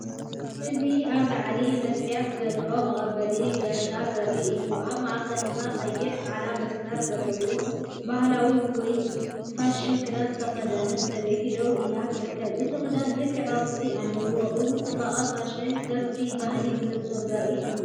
እዚ ኣብ ላዕሊ መስትያት ዘለዎ መቐበሊ ኣጋይሽ ዘርኢ እዩ። ኣብ ማእከል ድማ ቀይሕን ጻዕዳን መስመር ዘለዎ ባህላዊ ወይ ፋሽን ክዳን ዝተኸድነ ሰበይቲ ደው ኢላ ትርከብ። እቲ ክዳን ልክዕ ቅርጺ ኣለዎ። እዚ ጽባቐ ፋሽንን ቅርጺ ባህልን ብንጹር ዘርኢ እዩ።